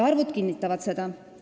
Arvud kinnitavad seda.